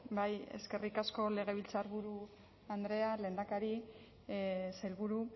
bai eskerrik asko legebiltzarburu andrea lehendakari sailburu